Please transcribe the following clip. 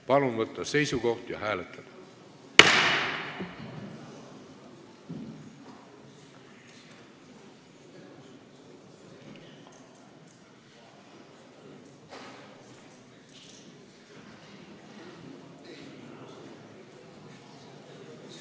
Palun võtta seisukoht ja hääletada!